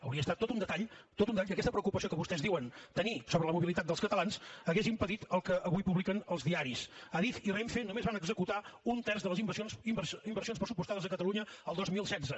hauria estat tot un detall tot un detall que aquesta preocupació que vostès diuen tenir sobre la mobilitat dels catalans hagués impedit el que avui publiquen els diaris adif i renfe només van executar un terç de les inversions pressupostades a catalunya el dos mil setze